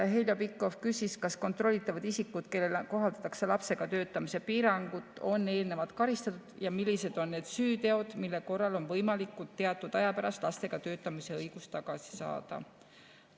Heljo Pikhof küsis, kas kontrollitavad isikud, kellele kohaldatakse lapsega töötamise piirangut, on eelnevalt karistatud ja millised on need süüteod, mille korral on võimalik teatud aja pärast lastega töötamise õigus tagasi saada.